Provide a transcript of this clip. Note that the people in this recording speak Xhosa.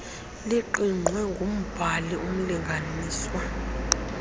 liqingqwe ngumbhali umlinganiswa